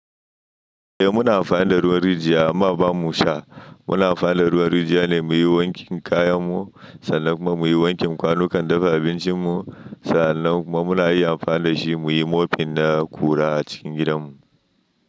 Eh muna amfani da ruwan rijiya amma ba mu sha. Muna amfani da ruwan rijiya ne muyi wankin kayan mu sannan kuma muyi wankin kwanukan dafa abincin mu. Sannan kuma muna iya amfani da shi muyi mofin na ƙura a cikin gidan mu.